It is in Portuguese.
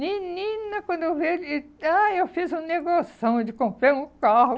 Menina, quando eu vi ele... eh Ah, eu fiz um negoção de comprar um carro.